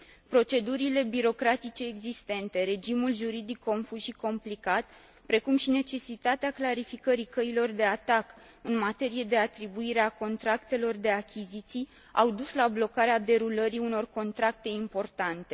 Procedurile birocratice existente, regimul juridic confuz și complicat, precum și necesitatea clarificării căilor de atac în materie de atribuire a contractelor de achiziții au dus la blocarea derulării unor contracte importante.